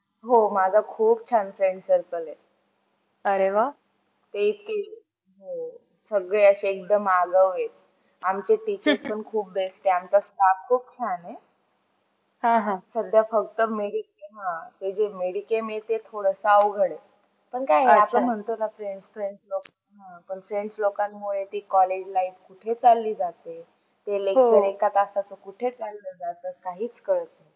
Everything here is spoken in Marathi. आणि हे सर्व होण्यासाठी एकच मार्ग आहे. तो म्हणजे चांगले शिक्षण शिक्षणाशिवाय आ आपल्याला चांगले स्थान मिळू शकत नाही जर आपल्याला doctor बनायचे आहे तर त्यासाठी अभ्यास करावा लागते .त्यासाठी चांगले शिक्षण शिक्षण घ्यावे लागते.